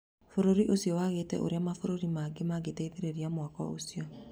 Bũrũri ũcio wagĩte ũrĩa mabũrũri mageni mangĩteithĩrĩria mwako ũcio